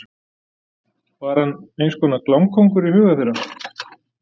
Var hann eins konar klámkóngur í huga þeirra?